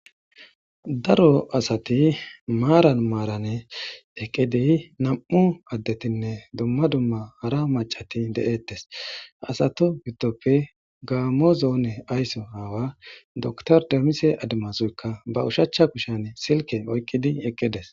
Daro asati maran maran eqidi nam'u adetinne dumma dumma hara macati de'etes asatu gidoppe gammo zone aysso awa dokiter demise adumasuyikka ba oshshichcha kushshiyan silke oykiddi eqides